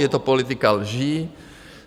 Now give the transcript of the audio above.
Je to politika lží.